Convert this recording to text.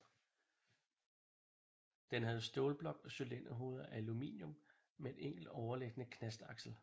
Den havde stålblok og cylinderhoveder af aluminium med enkelt overliggende knastaksel